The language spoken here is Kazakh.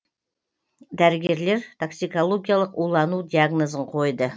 дәрігерлер токсикологиялық улану диагнозын қойды